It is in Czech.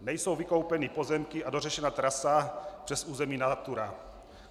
Nejsou vykoupeny pozemky a dořešena trasa přes území Natura.